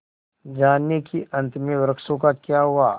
जानिए कि अंत में वृक्षों का क्या हुआ